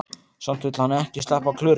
Samt vill hann ekki sleppa Klöru.